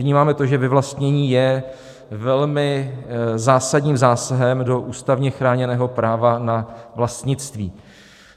Vnímáme to, že vyvlastnění je velmi zásadním zásahem do ústavně chráněného práva na vlastnictví.